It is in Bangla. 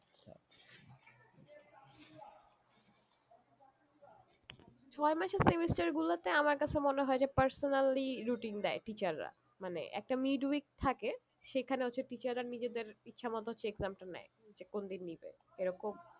ছয় মাসের semester গুলোতে আমার কাছে মনে হয়ে যে personally routine দেয় teacher রা মানে একটা mid-week থাকে সেখানে হচ্ছে teacher রা নিজেদের ইচ্ছা মতন হচ্ছে exam টা নেয় যে কোনদিন নিবে এরকম